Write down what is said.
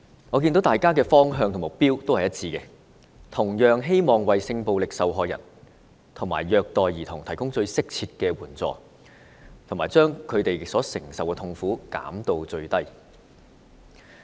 我看到大家的方向和目標都是一致的，同樣是希望為性暴力受害人和受虐兒童提供最適切的援助，把他們所承受的痛苦減至最低。